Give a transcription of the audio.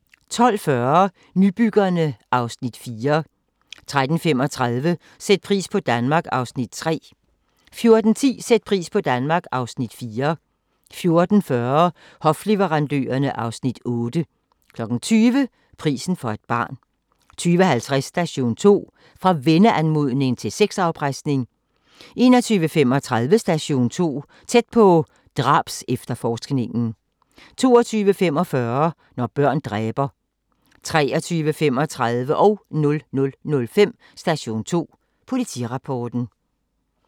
12:40: Nybyggerne (Afs. 4) 13:35: Sæt pris på Danmark (Afs. 3) 14:10: Sæt pris på Danmark (Afs. 4) 14:40: Hofleverandørerne (Afs. 8) 20:00: Prisen for et barn 20:50: Station 2: Fra venneanmodning til sexafpresning 21:35: Station 2: Tæt på - drabsefterforskningen 22:45: Når børn dræber 23:35: Station 2 Politirapporten 00:05: Station 2 Politirapporten